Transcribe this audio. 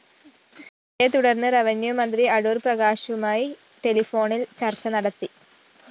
ഇതേക്കുറിച്ച് റെവന്യൂ മന്ത്രി അടൂര്‍ പ്രകാശുമായി ടെലഫോണില്‍ ചര്‍ച്ച നടത്തി